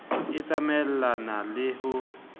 e tsamaelane e le ho